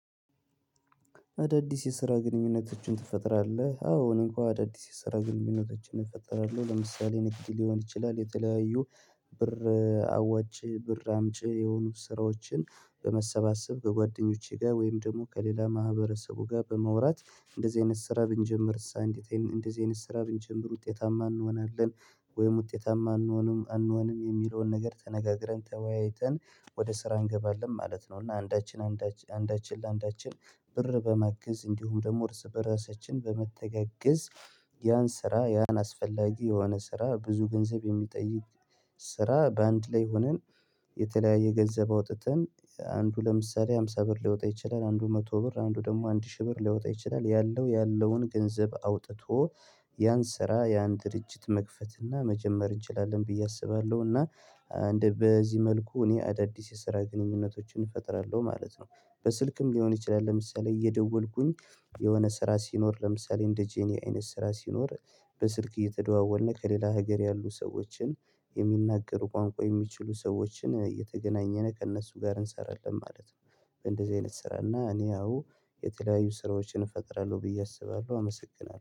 አዳዲስ የስራ ግንኙነቶችን ትፈጥራለህ? አዎ እኔ እንኳን አዳዲስ የስራ ግንኙነቶችን እፈጥራለሁ። ለምሳሌ ንግድ ሊሆን ይችላል የተለያዩ ብር አዋጭ ብር አምጪ የሆኑ ስራዎችን በመሰባሰብ በጓደኞቼ ጋር ወይም ደግሞ ከሌላ ማህበረሰቡ ጋር በመውራት እንደዚህ አይነት ስራ ብንጀምር ሳንዲቴን እንደዚህ አይነት ስራ ብንጀምር ውጤታማ እንሆናለን ወይም ውጤታማ አንሆንም አንሆንም የሚለውን ነገር ተነጋግረን ተወያይተን ወደ ስራ እንገባለን ማለት ነው። እና አንዳችን አንዳችን አንዳችን ለአንዳችን ብር በማገዝ እንዲሁም ደግሞ ርዕሰ በራሳችን በመተጋገዝ። ያን ስራ ያን አስፈላጊ የሆነ ስራ ብዙ ገንዘብ የሚጠይቅ ስራ በአንድ ላይ ሆነን። የተለያየ ገንዘብ አውጥተን አንዱ ለምሳሌ ሃምሳ ብር ሊወጣ ይችላል አንዱ መቶ ብር አንዱ ደግሞ አንድ ሺህ ብር ሊወጣ ይችላል ያለው ያለውን ገንዘብ አውጥቶ ያን ስራ ያን ድርጅት መክፈትና መጀመር እንችላለን። ብዬ አስባለሁና እንደ በዚህ መልኩ እኔ አዳዲስ የስራ ግንኙነቶችን እፈጥራለሁ ማለት ነው። በስልክም ሊሆን ይችላል ለምሳሌ እየደወልኩኝ የሆነ ስራ ሲኖር ለምሳሌ እንደ ጄኒ አይነት ስራ ሲኖር በስልክ እየተደዋወልነ ከሌላ ሀገር ያሉ ሰዎችን የሚናገሩ ቋንቋ የሚችሉ ሰዎችን የተገናኘነ ከእነሱ ጋር እንሰራለን ማለት ነው። እንደዚህ አይነት ስራ እና እኔ ያው የተለያዩ ስራዎችን እፈጥራለሁ ብዬ አስባለሁ አመሰግናለሁ